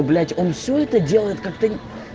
блять он всё это делает как-то